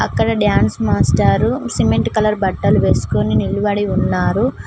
ఇక్కడ డాన్స్ మాస్టారు cement colour బట్టలు వేస్కోని నిలబడి ఉన్నారు.